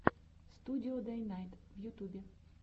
студио дэйнайт в ютубе